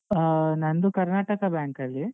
ಆ ನಂದು ಕರ್ನಾಟಕ bank ಅಲ್ಲಿ.